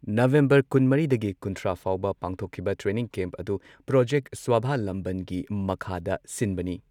November ꯀꯨꯟꯃꯔꯤꯗꯒꯤ ꯀꯨꯟꯊ꯭ꯔꯥ ꯐꯥꯎꯕ ꯄꯥꯡꯊꯣꯛꯈꯤꯕ ꯇ꯭ꯔꯦꯅꯤꯡ ꯀꯦꯝꯞ ꯑꯗꯨ ꯄ꯭ꯔꯣꯖꯦꯛ ꯁ꯭ꯋꯥꯚꯂꯝꯕꯟꯒꯤ ꯃꯈꯥꯗ ꯁꯤꯟꯕꯅꯤ꯫